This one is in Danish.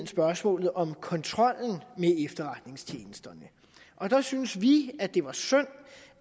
spørgsmålet om kontrollen med efterretningstjenesterne og der syntes vi at det var synd